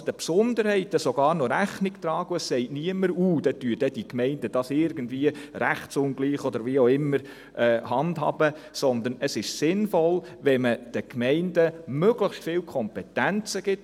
Man kann also den Besonderheiten noch Rechnung tragen, und niemand sagt, dass die Gemeinden hier eine Rechtsungleichheit schaffen, sondern es ist sinnvoll, wenn man den Gemeinden möglichst viele Kompetenzen gibt.